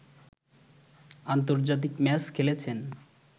আন্তর্জাতিক ম্যাচ খেলেছেন।